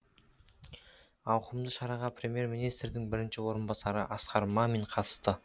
ауқымды шараға премьер министрдің бірінші орынбасары асқар мамин қатысты